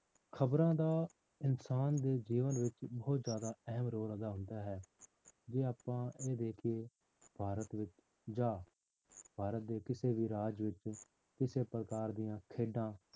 ਖ਼ਬਰਾਂ ਦਾ ਇਨਸਾਨ ਦੇ ਜੀਵਨ ਵਿੱਚ ਬਹੁਤ ਜ਼ਿਆਦਾ ਅਹਿਮ role ਅਦਾ ਹੁੰਦਾ ਹੈ ਜੇ ਆਪਾਂ ਇਹ ਦੇਖੀਏ ਭਾਰਤ ਵਿੱਚ ਜਾਂ ਭਾਰਤ ਦੇ ਕਿਸੇ ਵੀ ਰਾਜ ਵਿੱਚ ਕਿਸੇ ਪ੍ਰਕਾਰ ਦੀਆਂ ਖੇਡਾਂ